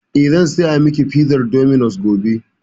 Eh, zan saya miki pizar dominos gobe.